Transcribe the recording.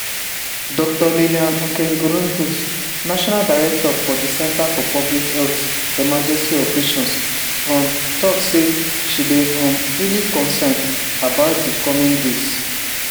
dr liliane nkengurutse national director for di centre for public health emergency operations um tok says she dey um really concerned about di coming days.